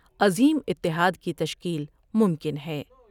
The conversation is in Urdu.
عظیم اتحاد کی تشکیل ممکن ہے ۔